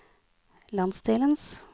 landsdelens